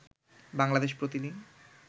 বাংলাদেশ প্রতি দিন